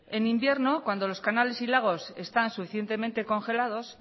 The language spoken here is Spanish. en invierno cuando los canales y lagos están suficientemente congelados